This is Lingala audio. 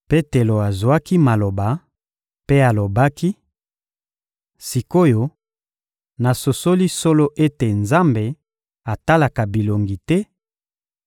Petelo azwaki maloba mpe alobaki: — Sik’oyo, nasosoli solo ete Nzambe atalaka bilongi te,